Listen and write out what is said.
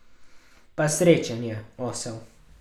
Pa srečen je, osel.